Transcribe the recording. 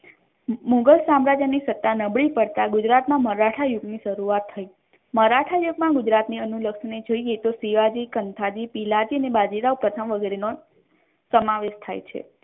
મુઘલ સામ્રાજ્ય ની સત્તા નબળી પડતા ગુજરાત મા મરાઠા યુગ ની શરૂઆત થઇ મરાઠા યુગ મા ગુજરાત ની અનુલગની જોઈએ તો શિવાજી કંથાજી પીલાજી અને બાજીરાઓ તથા વગેરે નો સમાવેશ થઇ છે.